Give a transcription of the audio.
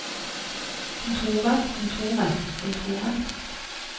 kontoret kontoret kontoret